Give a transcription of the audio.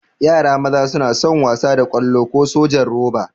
Yara maza suna son wasa da ƙwallo ko sojan roba.